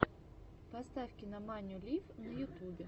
поставь кинаманию лив на ютюбе